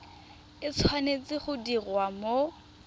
e tshwanetse go diriwa mo